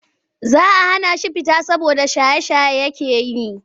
Za a hana shi fita saboda shaye-shaye take yi.